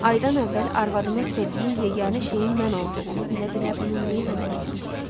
Aydan əvvəl arvadımın sevdiyi yeganə şeyin mən olduğunu bilə-bilə bunu niyə eləməliydim ki?